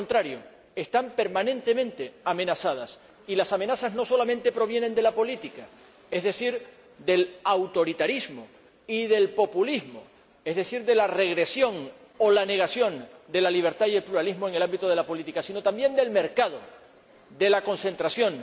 Por el contrario, están permanentemente amenazadas y las amenazas no solamente provienen de la política, es decir, del autoritarismo y del populismo, o de la regresión o la negación de la libertad y el pluralismo en el ámbito de la política, sino también del mercado, de su concentración,